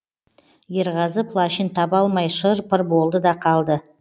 ерғазы плащын таба алмай шыр пыр болды да қалды